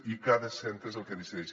i cada centre és el que decideix